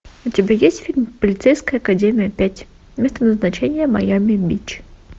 у тебя есть фильм полицейская академия пять место назначения майами бич